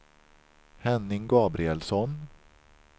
Henning Gabrielsson